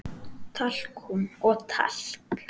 Talkúm og talk